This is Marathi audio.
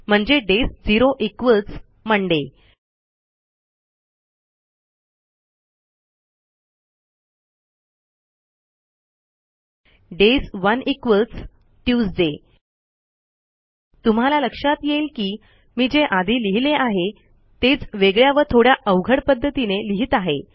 म्हणजे days zero equals Monday days one equals Tuesday तुम्हाला लक्षात येईल की मी जे आधी लिहिले आहे तेच वेगळ्या व थोड्या अवघड पध्दतीने लिहित आहे